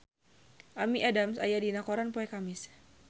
Amy Adams aya dina koran poe Kemis